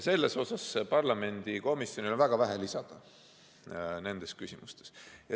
Selles mõttes on parlamendi komisjonil väga vähe lisada nendes küsimustes.